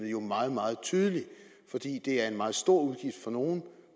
jo meget meget tydelig fordi det er en meget stor udgift for nogle